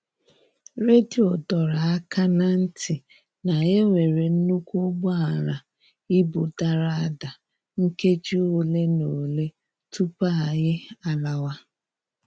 Redio doro aka na ntị na-enwere nnukwu ụgbọala ibu dara ada nkeji ole na ole tupu anyị a lawa.